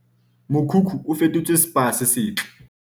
Mokhukhu o fetotswe Spa se setle